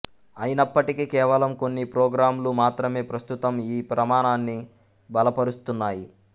అయినప్పటికీ కేవలం కొన్ని ప్రోగ్రామ్ లు మాత్రమే ప్రస్తుతం ఈ ప్రమాణాన్ని బలపరుస్తున్నాయి